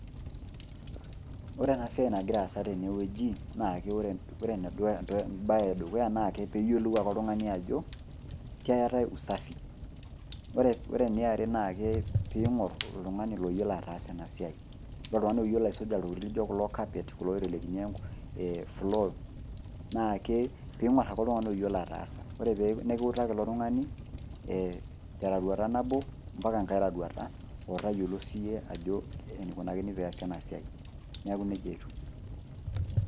Ore ena siai nagira aasa tenewueji naake ore nedukuya entoki, embaye edukuya naake peeyiolou ake oltung'ani ajo keetai usafi. Ore eniare naake piing'orr oltung'ani loyiolo ataasa enasiai. Ore oltung'ani loyiolo aisuja iltokitin lijo kulo kapet kulo oitelekini  floo naake piing'orr ake oltung'ani oyiolo ataasa ore pee nekiutaki ilo tung'ani [ee] teroruata nabo mpaka ngai roruata otayiolo siyie ajo eneikunakini peeasi ena siai. Neaku neija etiu.